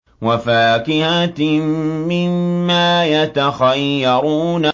وَفَاكِهَةٍ مِّمَّا يَتَخَيَّرُونَ